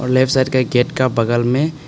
और left side का एक गेट का बगल में--